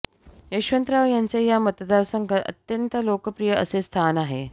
यशवंतराव यांचे या मतदारसंघात अत्यंत लोकप्रिय असे स्थान आहे